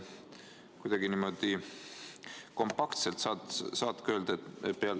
Austatud ettekandja!